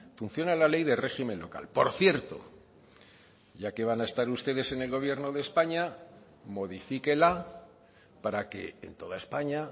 funciona la ley de régimen local por cierto ya que van a estar ustedes en el gobierno de españa modifíquela para que en toda españa